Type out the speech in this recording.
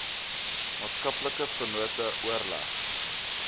maatskaplike vennote oorleg